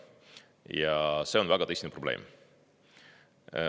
Ja see on väga tõsine probleem.